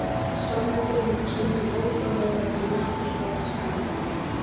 Sannleikurinn er stundum ótrúlegri en nokkur skáldskapur.